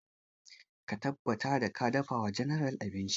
Ka tabbata ka dafa wa general abinci!